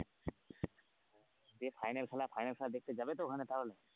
দিয়ে final খেলা final খেলা দেখতে যাবে তো ওখানে তাহলে।